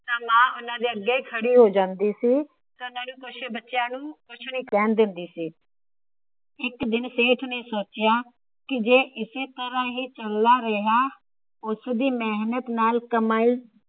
ਨਾ ਮਾਂ ਓਹਨੇ ਦੇ ਅੱਗੇ ਖੜੀ ਹੋ ਜਾਂਦੀ ਸੀ। ਪਿਤਾ ਨੂੰ ਬੱਚਿਆਂ ਨੂੰ ਕੁਛ ਵੀ ਨਹੀਂ ਕਹਿਣ ਦਿੰਦੀ ਸੀ। ਇੱਕ ਦਿਨ ਸੇਠ ਨੇ ਸੋਚਿਆ ਜੇ ਇਸੇ ਤਰਹ ਹੀ ਚੱਲਦਾ ਰਿਹਾ। ਉਸ ਦੀ ਮੇਹਨਤ ਨਾਲ ਕਮਾਈ